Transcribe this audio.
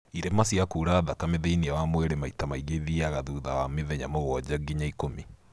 irema cia kura thakame thĩiniĩ wa mwĩrĩ maita maingĩ ithiaga thutha wa mĩthenya mũgwanja nginya ikũmi